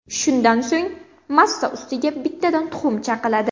Shundan so‘ng massa ustiga bittadan tuxum chaqiladi.